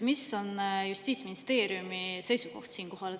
Mis on siinkohal justiitsministeeriumi seisukoht?